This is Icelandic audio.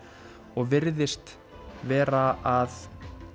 og virðist vera að